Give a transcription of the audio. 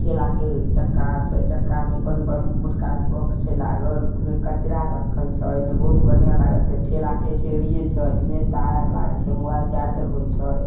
ठेला के चक्का आर छै चक्का में बनबे मोटका स्पोर्ट छै लागल उने कचरा रखल छै इने बहुत बढ़िया लागल छै ठेला के ठेरिए छै इने तार आर लागल छै मोबाइल चार्ज आर होय छै।